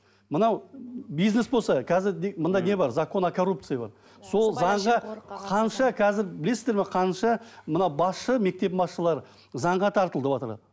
мынау бизнес болса қазір мында не бар закон о коррупциий бар сол заңға қанша қазір білесіздер ме қанша мынау басшы мектеп басшылары заңға тартылыватыр